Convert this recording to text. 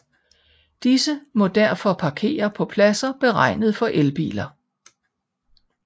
Disse må derfor parkere på pladser beregnet for elbiler